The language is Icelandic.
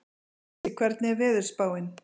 Issi, hvernig er veðurspáin?